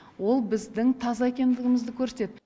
ол біздің таза екендігімізді көрсетеді